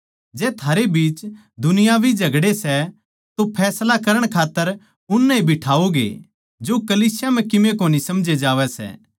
जै थारे बीच दुनियावी झगड़े सै तो फैसला करण खात्तर उननै ए बिठाओगे जो कलीसिया म्ह कीमे कोनी समझे जावै सै